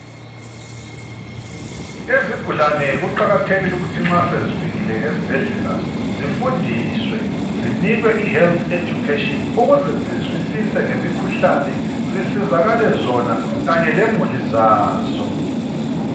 Izigulane kuqakathekile ukuthi nxa sezifikile esibhedlela zifundiswe zinikwe ihealth education ukuze zizwisise ngemikhuhlane zisizakale zona khanye lemuli zazo.